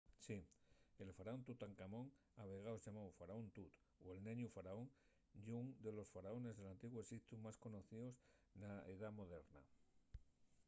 ¡sí! el faraón tutancamón a vegaes llamáu faraón tut” o el neñu faraón” ye ún de los faraones del antiguu exiptu más conocios na edá moderna